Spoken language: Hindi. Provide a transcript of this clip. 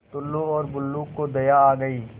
टुल्लु और बुल्लु को दया आ गई